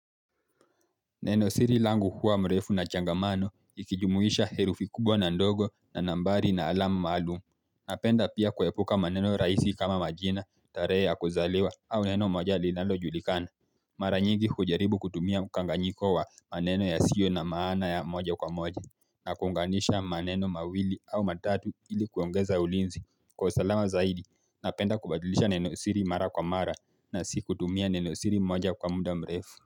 Neno siri langu huwa mrefu na changamano ikijumuisha herufi kubwa na ndogo na nambari na alama maalumu. Napenda pia kuepuka maneno rahisi kama majina, tarehe ya kuzaliwa au neno moja linalojulikana. Mara nyingi hujaribu kutumia mkanganyiko wa maneno yasio na maana ya moja kwa moja na kuunganisha maneno mawili au matatu ili kuongeza ulinzi Kwa usalama zaidi napenda kubadilisha neno siri mara kwa mara na si kutumia neno siri moja kwa muda mrefu.